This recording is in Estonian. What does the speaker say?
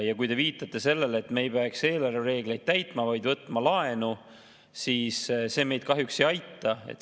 Ja kui te viitate sellele, et me ei peaks eelarvereegleid täitma, vaid võtma laenu, siis see meid kahjuks ei aita.